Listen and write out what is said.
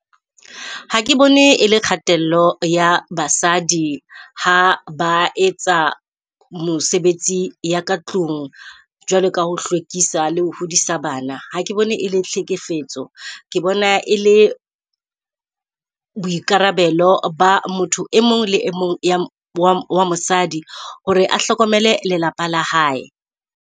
Ha ke bone e le kgatello ya basadi ha ba etsa mosebetsi ya ka tlung jwalo ka ho hlwekisa le ho hodisa bana. Ha ke bone e le tlhekefetso ke bona e le boikarabelo ba motho e mong le mong wa mosadi hore a hlokomele lelapa la hae.